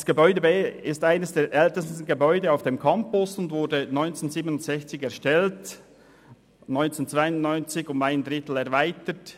Das Gebäude B ist eines der ältesten Gebäude auf dem Campus, es wurde 1967 erstellt und 1992 um einen Drittel erweitert.